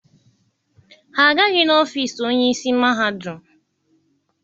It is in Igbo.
Ha agaghị n'ọfiisi onye isi mahadum.